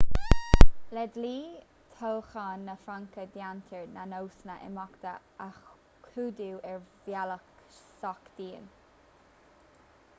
le dlí toghcháin na fraince déantar na nósanna imeachta a chódú ar bhealach sách dian